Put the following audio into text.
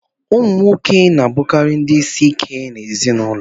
Ụmụ nwoke na-abụkarị ndị isi ike n'ezinụlọ